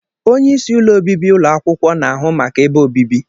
Onye isi ụlọ obibi ụlọ akwụkwọ na-ahụ maka ebe obibi.